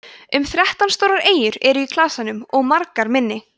um þrettán stórar eyjar eru í klasanum og margar minni